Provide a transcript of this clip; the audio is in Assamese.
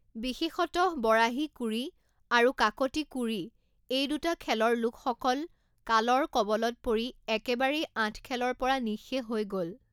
বিশেষতঃ বৰাহী কুৰি আৰু কাকতি কুৰি এই দুটা খেলৰ লোক সকল কালৰ কৱলত পৰি একেবাৰেই আঠখেলৰ পৰা নিঃশেষ হৈ গ'ল।